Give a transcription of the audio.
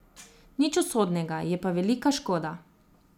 Nič usodnega, je pa velika škoda.